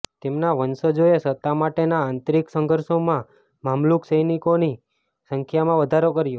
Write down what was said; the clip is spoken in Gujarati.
તેમના વંશજોએ સત્તા માટેના આંતરિક સંઘર્ષોમાં મામલુક સૈનિકોની સંખ્યામાં વધારો કર્યો